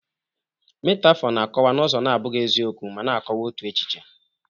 Metaphor na-akọwa n'ụzọ na-abụghị eziokwu, ma na-akọwa otu echiche